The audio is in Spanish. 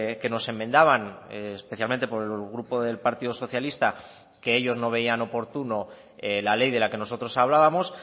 que nos enmendaban especialmente por el grupo del partido socialista que ellos no veían oportuno la ley de la que nosotros hablábamos